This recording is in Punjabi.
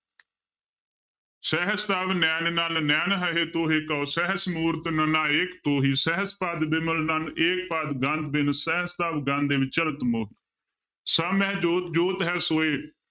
ਸਹਸ ਤਵ ਨੈਨ ਨਨ ਨੈਨ ਹੈ ਤੋਹਿ ਕਉ ਸਹਸ ਮੂਰਤਿ ਨਨਾ ਏਕ ਤੋਹੀ, ਸਹਸ ਪਦ ਬਿਮਲ ਨਨ ਏਕ ਪਦ ਗੰਧ ਬਿਨੁ ਸਹਸ ਤਵ ਗੰਧ ਇਵ ਚਲਤ ਮੋ~ ਸਭ ਮਹਿ ਜੋਤਿ ਜੋਤਿ ਹੈ ਸੋਇ,